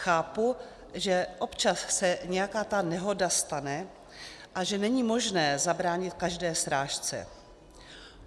Chápu, že občas se nějaká ta nehoda stane a že není možné zabránit každé srážce.